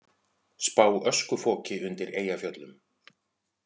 Spá öskufoki undir Eyjafjöllum